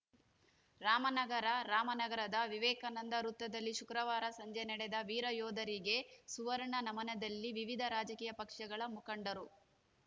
ರಾಮನಗರ ರಾಮನಗರದ ವಿವೇಕಾನಂದ ವೃತ್ತದಲ್ಲಿ ಶುಕ್ರವಾರ ಸಂಜೆ ನಡೆದ ವೀರಯೋಧರಿಗೆ ಸುವರ್ಣ ನಮನದಲ್ಲಿ ವಿವಿಧ ರಾಜಕೀಯ ಪಕ್ಷಗಳ ಮುಖಂಡರು